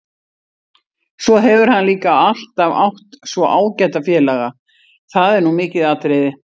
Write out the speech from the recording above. Svo hefur hann líka alltaf átt svo ágæta félaga, það er nú mikið atriði.